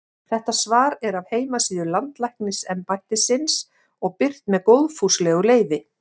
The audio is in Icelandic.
Þetta svar er af heimasíðu Landlæknisembættisins og birt með góðfúslegu leyfi.